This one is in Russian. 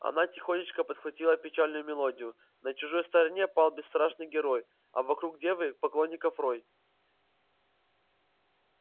она тихонечко подхватила печальную мелодию на чужой стороне пал бесстрашный герой а вокруг девы поклонников рой